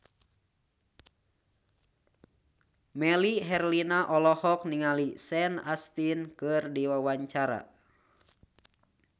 Melly Herlina olohok ningali Sean Astin keur diwawancara